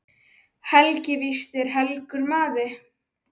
Helgi víst er helgur maður.